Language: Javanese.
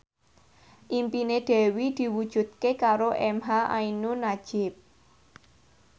impine Dewi diwujudke karo emha ainun nadjib